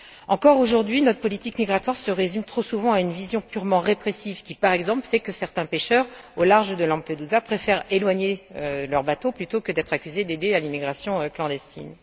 Encore aujourd'hui, notre politique migratoire se résume trop souvent à une vision purement répressive, qui, par exemple, fait que certains pêcheurs au large de Lampedusa préfèrent éloigner leur bateau plutôt que d'être accusés d'aider à l'immigration clandestine.